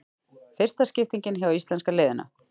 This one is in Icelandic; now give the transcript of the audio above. Fyrsta skiptingin hjá íslenska liðinu